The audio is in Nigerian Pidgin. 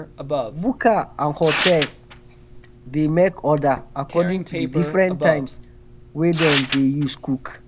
buka and hotel dey make order um according to di difrent times wey dem dey use cook.